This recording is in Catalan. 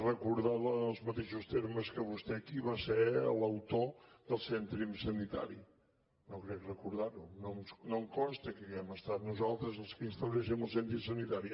recordar en els mateixos termes que vostè qui va ser l’autor del cèntim sanitari no crec recordar ho no em consta que hàgim estat nosaltres els qui instauréssim el cèntim sanitari